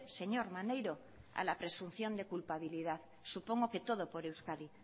señor maneiro a la presunción de culpabilidad supongo que todo por euskadi